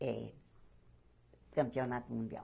É campeonato mundial.